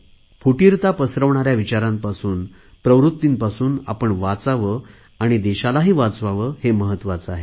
फुटीरता पसरवणाऱ्या विचारांपासून प्रवृत्तीपासून आपण वाचावे आणि देशालाही वाचवावे हे महत्त्वाचे आहे